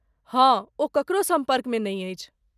हँ, ओ ककरो सम्पर्कमे नहि अछि।